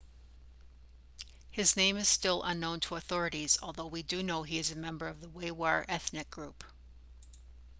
his name is still unknown to authorities although they do know he is a member of the uighur ethnic group